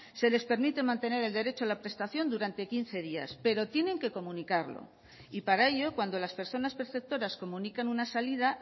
se les permite mantener el derecho a la prestación durante quince días pero tienen que comunicarlo y para ello cuando las personas perceptoras comunican una salida